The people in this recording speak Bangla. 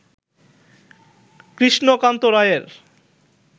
কৃষ্ণকান্ত রায়ের